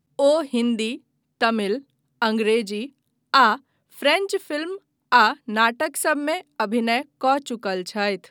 ओ हिन्दी, तमिल, अंग्रेजी, आ French film आ नाटकसभमे अभिनय कऽ चुकल छथि।